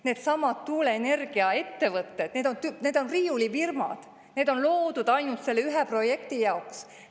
Needsamad tuuleenergiaettevõtted on riiulifirmad, mis on loodud ainult selle ühe projekti jaoks.